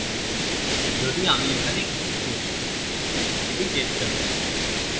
যদি আমি এখানে কিছু করি এটি চেষ্টা করি